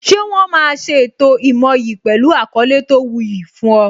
Ṣé wọn máa ṣe ètò ìmoyì pẹlu àkọlé tó wu yi fún ọ